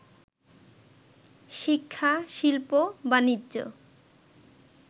শিক্ষা, শিল্প, বাণিজ্য